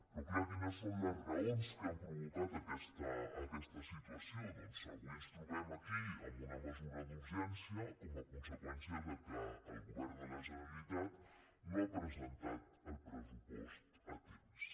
però és clar quines són les raons que han provocat aquesta situació doncs avui ens trobem aquí amb una mesura d’urgència com a conseqüència que el go·vern de la generalitat no ha presentat el pressupost a temps